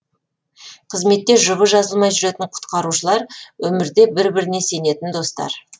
қызметте жұбы жазылмай жүретін құтқарушылар өмірде бір біріне сенетін достар